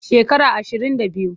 Shekara ashirin da biyu.